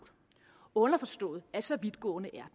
underforstået at så vidtgående er